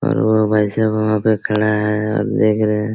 और वो भाईसाहब वहाँ पे खड़े है और देख रहे है।